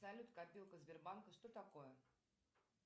салют копилка сбербанка что такое